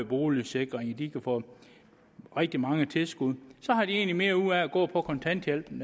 boligsikring de kan få rigtig mange tilskud har de egentlig mere ud af at gå på kontanthjælp end